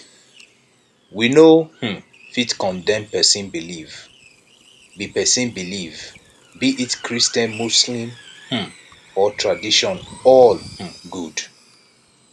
we no um fit condemn pesin belief be pesin belief be it christian muslim um or tradition all um good